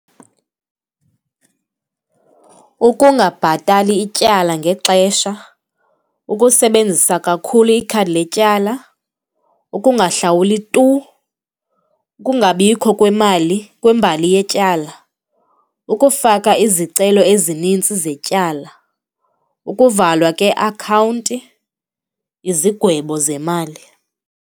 Ukungabhatali ityala ngexesha, ukusebenzisa kakhulu ikhadi letyala, ukungahlawuli tu, ukungabikho kwemali kwembali yetyala, ukufaka izicelo ezinintsi zetyala, ukuvalwa kweakhawunti, izigwebo zemali.